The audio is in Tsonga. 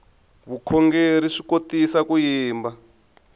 vukhongerhi swi kotisa ku yimba